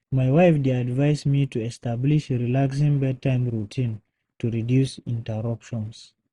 My wife dey advise me to establish relaxing bedtime routine to reduce interruptions.